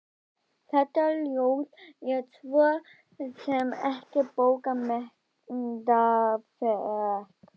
Þetta ljóð er svo sem ekkert bókmenntaafrek.